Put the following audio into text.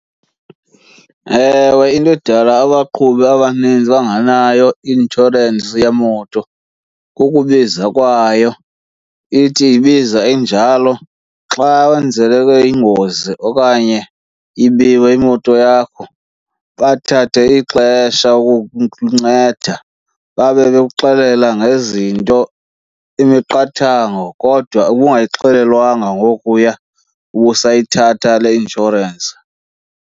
Ewe, into edala abaqhubi abanintsi bangenayo i-inshorensi yemoto kukubiza kwayo. Ithi ibiza injalo xa wenzeleke ingozi okanye ibiwe imoto yakho bathathe ixesha ukukunceda babe bekuxelela ngezinto imiqathango kodwa ubungayixelelwanga ngokuya ubusayithatha le inshorensi.